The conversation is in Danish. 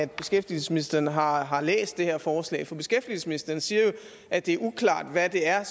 beskæftigelsesministeren har har læst det her forslag for beskæftigelsesministeren siger jo at det er uklart hvad det er